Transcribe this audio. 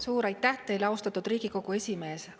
Suur aitäh teile, austatud Riigikogu esimees!